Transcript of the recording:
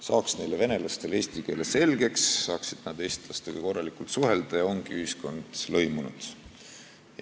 Saaks neile venelastele eesti keele selgeks, siis saaksid nad eestlastega korralikult suhelda ja olekski ühiskond lõimunud!